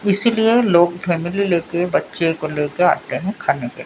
इसलिए लोग फैमिली ले के बच्चे को ले के आते हैं खाने के--